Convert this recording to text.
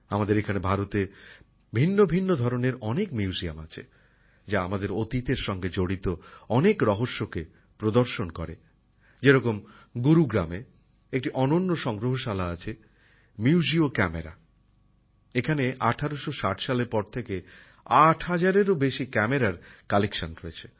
আমাদের এখানে ভারতে ভিন্ন ভিন্ন ধরনের অনেক মিউজিয়াম আছে যা আমাদের অতীত এর সঙ্গে জড়িত অনেক অজানা তথ্যকে প্রদর্শন করে যেরকম গুরুগ্রামে একটি ক্যামেরার অনন্য সংগ্রহশালা আছে এখানে ১৮৬০ সালের পর থেকে ৮০০০ এরও বেশি ক্যামেরার সংগ্রহ রয়েছে